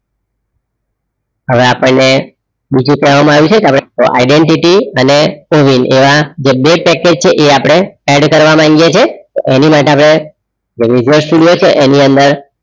હવે આપણે બીજું કહવામાં આયુ છે કે અપડે identity અને ઓવિન એવા જે બે પેકેજ છે એ અપડે add કરવા માંગીએ છે એની માટે અપડે result studio છે એની અંદર